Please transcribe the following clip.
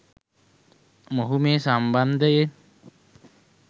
මොහු මේ සම්බන්ධයෙන්